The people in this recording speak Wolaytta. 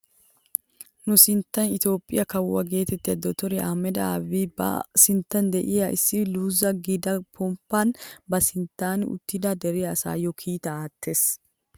Nu biittee itoophphee kawo getettiyaa dottoriyaa ahimeda aabi ba sinttan de'iyaa issi luzu giida pomppaan ba sinttan uttida dere asaayoo kiitaa aattees!